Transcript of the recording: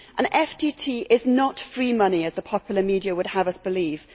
An FTT is not free money, as the popular media would have us believe.